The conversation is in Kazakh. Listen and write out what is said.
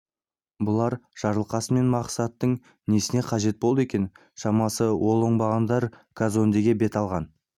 бұлар жарылқасын мен мақсаттың несіне қажет болды екен шамасы ол оңбағандар казондеге бет алған